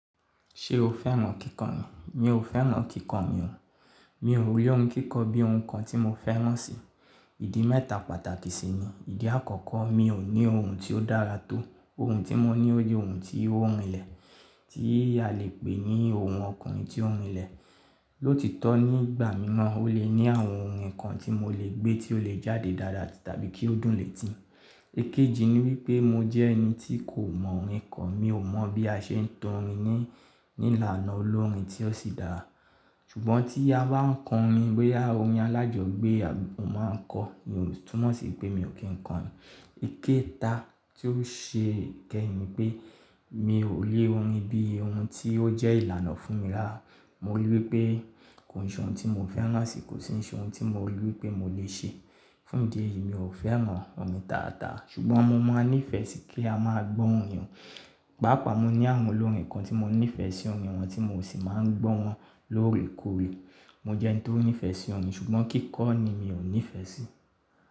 Ṣé o fẹ́ mọ kíkàn ni? Mi ò fẹ́ mọ kíkà ni o. Mi ò rí ohun kíkọ bí ohun kan tí mo fẹ́ràn si. Ìdí mẹ́ta pàtàkì sì ni. Ìdí àkọ́kọ́, mi ò ní ohùn tí ó dára tó. Ohùn tí mo ní o le ohùn tí ó rinlẹ̀, tí a lè pè ní ohun ọkùnrin tí ó rinlẹ̀. Lóòtítọ́ nígbà mìíràn, ó lè ní àwọn ohùn kan tí mo lè gbé tí ó lè jáde dáadáa tàbí kí ó dùn lè tì í. Èkejì ni wípé mo jẹ́ ẹni tí kò mọ orin kọ. Mi ò mọ̀ bí a ṣe ń tọ orin ní, ní ìlànà olórin tí ó sì dára. Ṣùgbọ́n tí a bá ń kọ orin, bóyá orin alájọgbé, mo máa ń kọ. Ìyẹn ò túmọ̀ sí pé mi ò kí ń kọrin. Ìkéta tí ó ṣe ìkẹ́yìn ni pé mi ò rí orin bí ohun tí ó jẹ́ ìlànà fún mi rárá Mo rí i wípé kò e ṣe ohun tí mo fẹ́ràn si, kò sì ní ṣe ohun tí mo rí i wípé mo lè ṣe. Fún ìdí èyí, mi ò fẹ́ mọ orin dáadáa. Ṣùgbọ́n mo máa ní ìfẹ́ sí kí a máa gbọ́ orin. Paapaa mo ní àwọn olórin kan tí mo ní ìfẹ́ sí orin wọn tí mo sì máa ń gbọ́ wọn lóòrèkóòrè. Mo jẹ́ ẹni tó ní ìfẹ́ sí orin ṣùgbọ́n kíkọ́ ni mi ò ní ìfẹ́ sí.